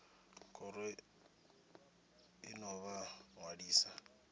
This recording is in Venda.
khoro i ḓo vha ṅwalisa